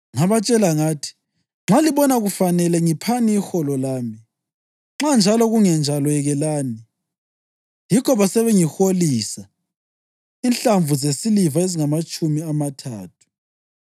Ngabatshela ngathi, “Nxa libona kufanele, ngiphani iholo lami; nxa njalo kungenjalo, yekelani.” Yikho basebengiholisa inhlamvu zesiliva ezingamatshumi amathathu.